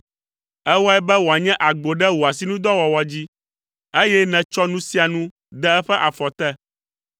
Èwɔe be wòanye agbo ɖe wò asinudɔwɔwɔ dzi; eye nètsɔ nu sia nu de eƒe afɔ te.